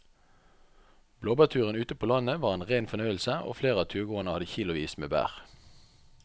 Blåbærturen ute på landet var en rein fornøyelse og flere av turgåerene hadde kilosvis med bær.